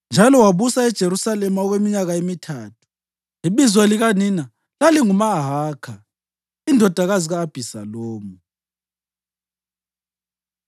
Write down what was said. njalo wabusa eJerusalema okweminyaka emithathu. Ibizo likanina lalinguMahakha indodakazi ka-Abhisalomu.